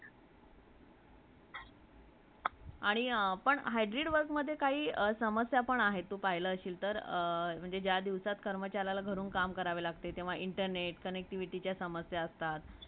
आणि hybrid work मदे काही समस्या पण आहे जर तू पहिलाशील तर ज्या दिवसात कर्मचारीलया internet , connectivity चे समस्या असतात